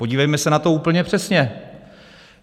Podívejme se na to úplně přesně.